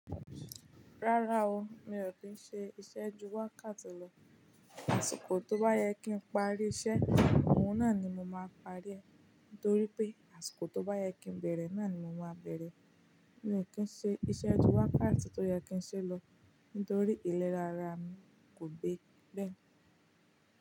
Rárá o, mi ò kí ń ṣe iṣẹ́ jú wákáti lọ. Àṣìkò tó bá yẹ kí n parí iṣẹ́, òun náà ni mo máa parí rẹ̀. Nítorí pé, àṣìkò tó bá yẹ kí n bẹ̀rẹ̀, náà ni mo máa bẹ̀rẹ̀. Mi ò kí ń ṣe iṣẹ́ jú wákátí tó yẹ kí ń ṣe lọ, nítorí ìlera ara mi kò gbé bẹ́ẹ̀.